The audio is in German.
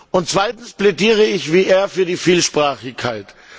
Und zweitens plädiere ich wie er für die Vielsprachigkeit.